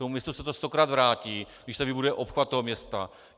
Tomu městu se to stokrát vrátí, když tady bude obchvat toho města.